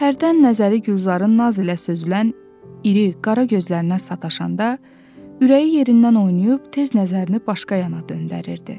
Hərdən nəzəri Gülzarın naz ilə sözülən, iri, qara gözlərinə sataşanda ürəyi yerindən oynayıp tez nəzərini başqa yana döndərirdi.